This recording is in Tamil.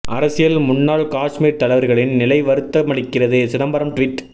அரசியல் முன்னாள் காஷ்மீர் தலைவர்களின் நிலை வருத்தமளிக்கிறது சிதம்பரம் டுவிட்